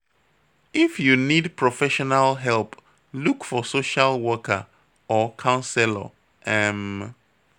If you need professional help, look for social worker or counselor. um